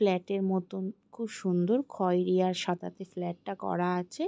ফ্ল্যাটের মতন খুব সুন্দর খয়রী আর সাদাতে ফ্ল্যাটটা করা আছে ।